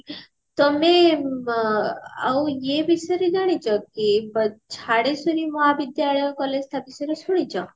ତମେ ବ ଆଉ ଇଏ ବିଷୟରେ ଜାଣିଛ କି ଝଡେଶ୍ଵରୀ ମହାବିଦ୍ୟାଳୟ collage ତା ବିଷୟରେ ଶୁଣିଛ